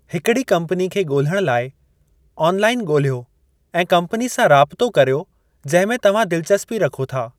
हिकिड़ी कम्पनी खे ॻोल्हणु लाई, ऑनलाइन ॻोल्हियो ऐं कम्पनी सां राबितो करियो जंहिं में तव्हां दिलचस्पी रखो था।